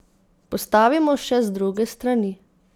Postavimo še z druge strani!